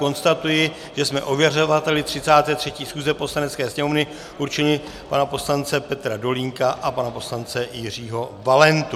Konstatuji, že jsme ověřovateli 33. schůze Poslanecké sněmovny určili pana poslance Petra Dolínka a pana poslance Jiřího Valentu.